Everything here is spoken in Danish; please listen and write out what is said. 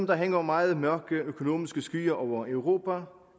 der hænger meget mørke økonomiske skyer over europa